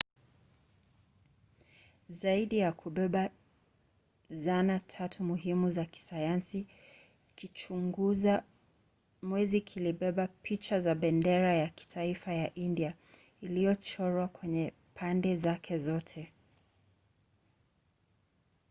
zaidi ya kubeba zana tatu muhimu za kisayansi kichunguza mwezi pia kilibeba picha za bendera ya kitaifa ya india iliyochorwa kwenye pande zake zote